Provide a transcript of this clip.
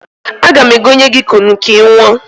Aga m egonye gị kunu ka ị ṅụọ.